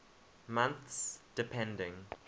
months depending